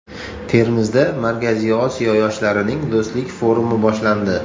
Termizda Markaziy Osiyo yoshlarining do‘stlik forumi boshlandi.